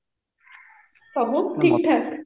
ସବୁ ଠିକ ଠାକ